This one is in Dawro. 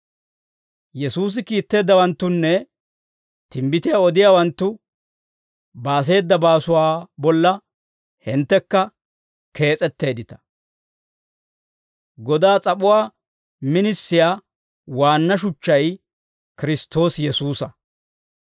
Yesuusi kiitteeddawanttunne timbbitiyaa odiyaawanttu baaseeda baasuwaa bolla hinttekka kees'etteeddita; godaa s'ap'uwaa minisiyaa waanna shuchchay Kiristtoosi Yesuusa.